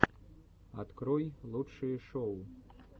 открой лучшие шоу